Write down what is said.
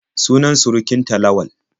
Sunan surukin ta Lawal.